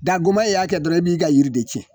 Dagolo y'a kɛ dɔrɔn i b'i ka yiri de tiɲɛ